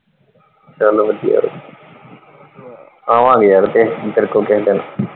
ਚਲੋ ਵਧੀਆ, ਆਵਾਂਗੇ ਯਾਰ ਕਿਸੇ ਦਿਨ ਤੇਰੇ ਕੋਲ ਕਿਸੇ ਦਿਨ।